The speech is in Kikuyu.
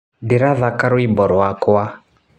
Ndĩrathaka rwimbo rwakwa